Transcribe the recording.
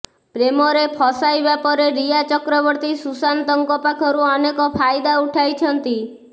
ପ୍ରେମରେ ଫସାଇବା ପରେ ରିୟା ଚକ୍ରବର୍ତ୍ତୀ ସୁଶାନ୍ତଙ୍କ ପାଖରୁ ଅନେକ ଫାଇଦା ଉଠାଇଛନ୍ତି